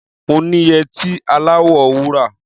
Mo ní yẹtí aláwọ̀ wúrà.